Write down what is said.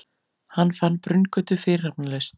Hann fann Brunngötu fyrirhafnarlaust.